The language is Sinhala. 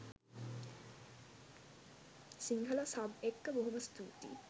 සිංහල සබ් එක්ක බොහොම ස්තූතියි